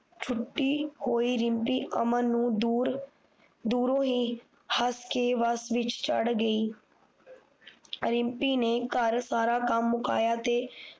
ਛੁੱਟੀ ਹੋਈ ਰਿਮਪੀ ਅਮਨ ਨੂੰ ਦੂਰ ਦੂਰੋਂ ਹੀ ਹੱਸ ਕ ਬੱਸ ਵਿੱਚ ਚੜ੍ਹ ਗਈ ਰਿਮਪੀ ਨੇ ਘਰ ਸਾਰਾ ਕੰਮ ਮੁਕਾਇਆ ਤੇ